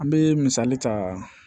An bɛ misali ta